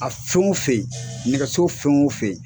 A fen o fen nɛgɛso fen o fen